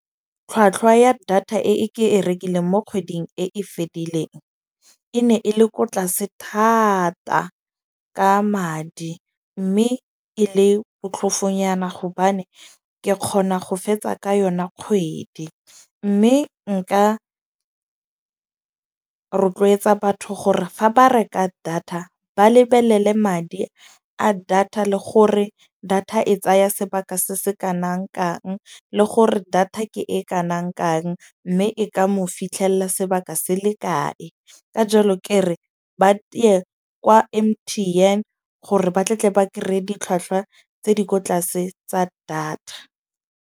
Tlhwatlhwa ya data e ke e rekileng mo kgweding e e fedileng, e ne e le ko tlase thata ka madi. Mme e le botlhofonyana gobane ke kgona go fetsa ka yona kgwedi. Mme nka rotloetsa batho gore fa ba reka data ba lebelele madi a data le gore data e tsaya sebaka se se kanangkang, le gore data ke e kanang kang. Mme e ka mo fitlhella sebaka se le kae. Ka jalo ke re ba tiye kwa M_T_N gore batle tle ba kry-e ditlhwatlhwa tse di ko tlase tsa data.